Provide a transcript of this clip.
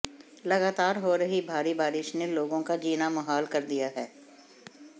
लगातार हो रही भारी बारिश ने लोगों का जीना मुहाल कर दिया है